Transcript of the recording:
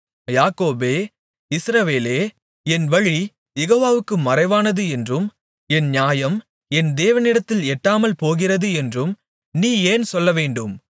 யாக்கோபே இஸ்ரவேலே என் வழி யெகோவாவுக்கு மறைவானது என்றும் என் நியாயம் என் தேவனிடத்தில் எட்டாமல் போகிறது என்றும் நீ ஏன் சொல்லவேண்டும்